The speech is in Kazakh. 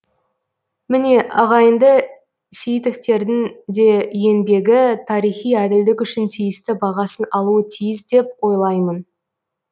міне ағайынды сейітовтердің де еңбегі тарихи әділдік үшін тиісті бағасын алуы тиіс деп ойлаймын